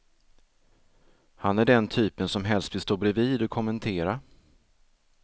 Han är den typen som helst vill stå bredvid och kommentera.